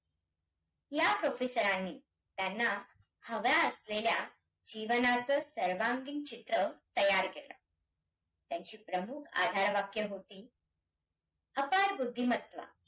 या professor नी त्यांना हव्या असलेल्या जीवनाचं सर्वांगीण चित्र तयार केलं. त्यांची प्रमुख आधार वाक्य होती. अफाट बुद्धिमत्ता